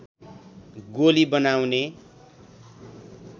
गोली बनाउने